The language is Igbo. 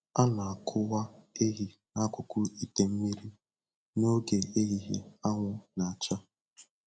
A na-akwụwa ehi n'akụkụ ite mmiri n'oge ehihie anwụ na-acha